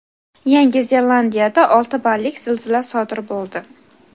Yangi Zelandiyada olti ballik zilzila sodir bo‘ldi.